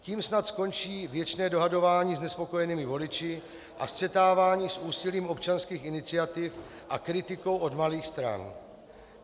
Tím snad skončí věčné dohadování s nespokojenými voliči a střetávání s úsilím občanských iniciativ a kritikou od malých stran.